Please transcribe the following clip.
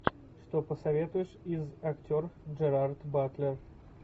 что посоветуешь из актер джерард батлер